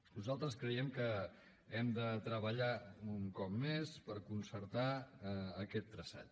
nosaltres creiem que hem de treballar un cop més per concertar aquest traçat